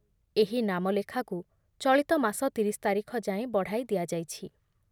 ଏହି ନାମଲେଖାକୁ ଚଳିତମାସ ତିରିଶ ତାରିଖ ଯାଏଁ ବଢ଼ାଇ ଦିଆଯାଇଛି ।